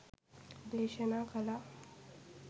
දේශනා කළා.